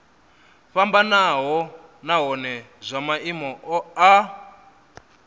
fhambanaho nahone zwa maimo a